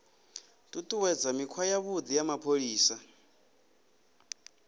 ṱuṱuwedza mikhwa yavhuḓi ya mapholisa